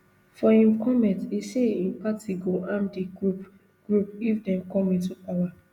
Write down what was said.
for im comment e say im party go arm di group group if dem come into power